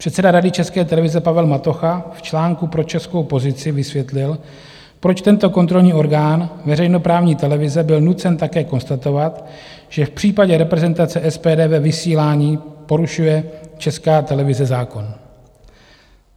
Předseda Rady České televize Pavel Matocha v článku pro Českou pozici vysvětlil, proč tento kontrolní orgán veřejnoprávní televize byl nucen také konstatovat, že v případě reprezentace SPD ve vysílání porušuje Česká televize zákon.